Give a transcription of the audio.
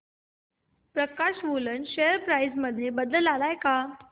प्रकाश woollen share price मध्ये बदल आलाय का